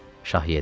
Şah yedi.